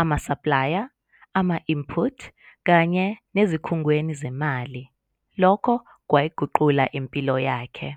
amasaplaya ama-input kanye nasezikhungweni zezimali - lokho kwayiguqula impilo yakhe.